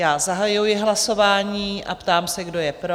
Já zahajuji hlasování a ptám se, kdo je pro?